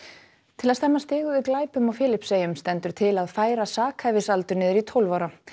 til að stemma stigu við glæpum á Filippseyjum stendur til að færa sakhæfisaldur niður í tólf ára